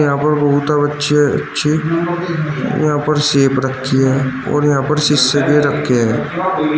यहां पर बहुत अच्छे अच्छे यहां पर सेफ रखी हैं और यहां पर शीशे भी रखे हैं।